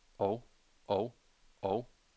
og og og